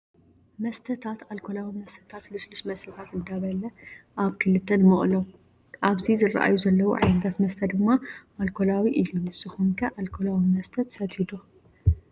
መስተታት ኣልኮላዊ መስታት ልስሉስ መስተታት እንዳበል ኣብ ክልተ ንመቅሎም። ኣብዚ ዝረኣዩ ዘለው ዓይነታት መስተ ድማ ኣልኮላዊ እዩ ንስኩም ከ ኣልኮላዊ መስተ ትሰትዩ ዶ?